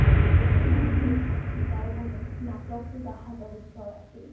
কেনেকে মানুহৰ তাত আমি যাব পাৰিম নাটকটো তাহাতৰ উত্তৰ আছিল